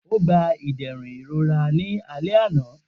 O gba iderun irora ni alẹ ana.